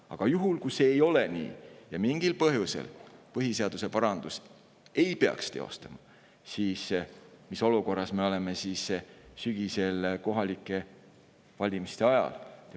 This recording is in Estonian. Aga kui see nii ei ole ja mingil põhjusel ei peaks põhiseaduse parandust teostatama, siis mis olukorras me oleme sügisel kohalike valimiste ajal?